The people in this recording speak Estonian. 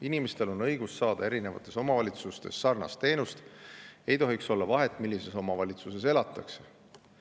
Inimestel on õigus saada erinevates omavalitsustes sarnast teenust, ei tohiks olla vahet millises omavalitsuses elatakse.